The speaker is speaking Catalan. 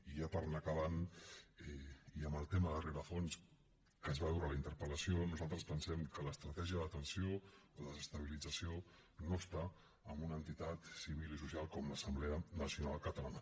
i ja per anar acabant i amb el tema de rerefons que es va veure a la interpeltratègia de detenció o desestabilització no està en una entitat civil i social com l’assemblea nacional catalana